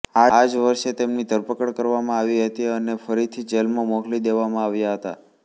આ જ વર્ષે તેમની ધરપકડ કરવામાં આવી હતી અને ફરીથી જેલમાં મોકલી દેવામાં આવ્યા હતા